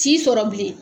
T'i sɔrɔ bilen